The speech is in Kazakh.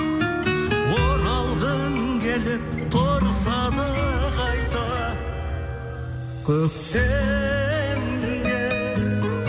оралғың келіп тұрса да қайда көктемге